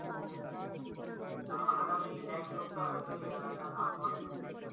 আহ আগামি এক সপ্তাহ হয় তো এই এলাকার আবহাওয়া রকমই থাকবে।